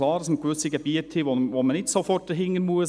Es gibt gewisse Gebiete, wo man nicht sofort dahinter muss.